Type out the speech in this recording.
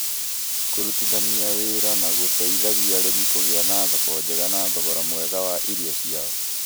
Kũrutithania wĩra nĩ gũteithagia arĩmi kũgĩa na thoko njega na thogora mwega wa irio ciao.